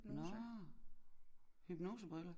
Nåh hypnosebriller